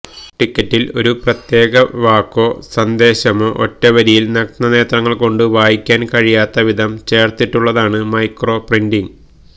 ടിക്കറ്റില് ഒരു പ്രത്യേക വാക്കോ സന്ദേശമോ ഒറ്റവരിയില് നഗ്നനേത്രങ്ങള്ക്കൊണ്ട് വായിക്കാന് കഴിയാത്ത വിധം ചേര്ത്തിട്ടുളളതാണ് മൈക്രോ പ്രിന്റിംഗ്